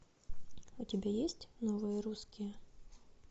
у тебя есть новые русские